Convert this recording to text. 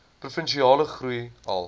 provinsiale groei alle